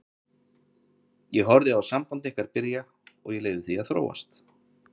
Ég horfði á samband ykkar byrja og ég leyfði því að þróast.